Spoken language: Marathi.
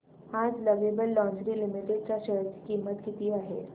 आज लवेबल लॉन्जरे लिमिटेड च्या शेअर ची किंमत किती आहे